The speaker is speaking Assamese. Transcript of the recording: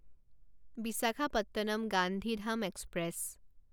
বিশাখাপট্টনম গান্ধীধাম এক্সপ্ৰেছ